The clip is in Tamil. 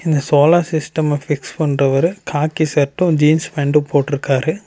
இந்த சோலார் சிஸ்டம்ம பிக்ஸ் பண்றவரு காக்கி ஷர்ட்டு ஜீன்ஸ் பேண்ட்டு போட்டுருக்காரு.